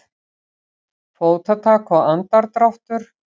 Fótatak og andardráttur.